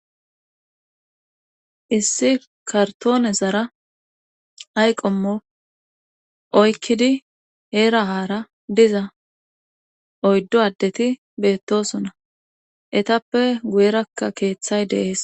Issi kartoone zara ayqomo oykkidi heerahara diza oyddo addeti beettosona etappe guyerakka keeththay deees.